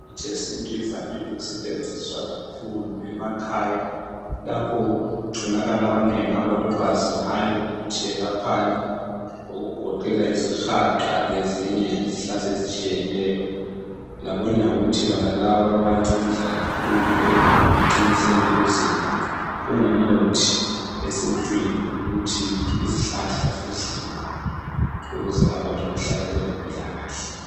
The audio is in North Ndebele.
Imithi yesintu ivamile ukusetshenziswa kakhulu emakhaya. Lapho okutholakala abanengi abalolwazi ngayo ukuthi yelaphani. Okugoqela izihaqa lezinye izihlahla ezitshiyeneyo. Labonyawuthi bonaba bayancedisa kakhulu ekuqiniseni imizimba. Kungumuthi esintwini ukuthi izihlahla zidliwe ukuze abantu bahlale belempilakahle.